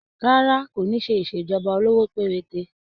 Rárá, kò ní ṣe ìṣèjọba olówó péréte.